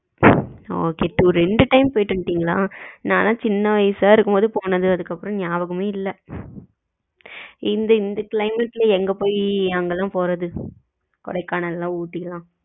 ஆ okay ரெண்டு time போயிட்டு வந்துட்டீங்களா நா எல்லாம் சின்ன வயசுல இருக்கும் போது போனது அதுக்கு அப்புறம் நாயபகமே இல்ல இந்த climate எங்க போயி அங்க எல்லாம் போறது கொடைக்கானல் எல்லாம் ஊட்டி எல்லாம்,